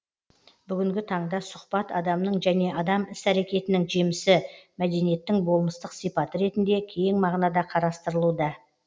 бүгінгі таңда сұхбат адамның және адам іс әрекетінің жемісі мәдениеттің болмыстық сипаты ретінде кең мағынада қарастырылуда